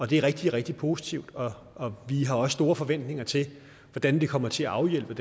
det er rigtig rigtig positivt og og vi har også store forventninger til hvordan det kommer til at afhjælpe